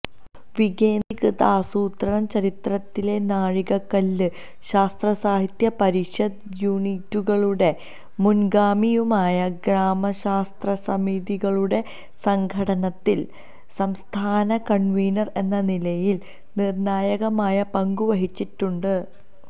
വികേന്ദ്രീകൃതാസൂത്രണ ചരിത്രത്തിലെ നാഴികകല്ലും ശാസ്ത്രസാഹിത്യ പരിഷത്ത് യൂണിറ്റുകളുടെ മുന്ഗാമിയുമായ ഗ്രാമശാസ്ത്രസമിതികളുടെ സംഘാടനത്തില് സംസ്ഥാന കണ്വീനര് എന്ന നിലയില് നിര്ണ്ണായകമായ പങ്കുവഹിച്ചിട്ടുണ്ട്